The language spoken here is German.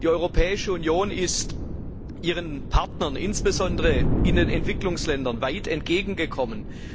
Die Europäische Union ist ihren Partnern insbesondere in den Entwicklungsländern weit entgegengekommen.